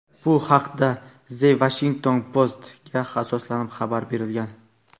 Bu haqda "The Washington Post"ga asoslanib xabar berilgan.